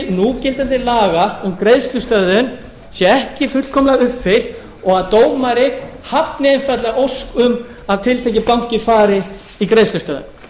núgildandi laga um greiðslustöðvun sé ekki fullkomlega uppfyllt og dómari hafni einfaldlega ósk um að tiltekinn banki fari í greiðslustöðvun